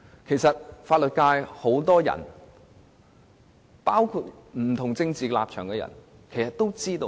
很多法律界人士，包括持不同政治立場的人其實都心中有數。